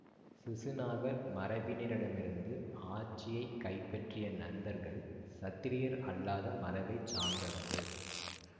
சிசுநாகர் மரபினரிடமிருந்து ஆட்சியை கைப்பற்றிய நந்தர்கள் சத்திரியர் அல்லாத மரபை சார்ந்தவர்கள்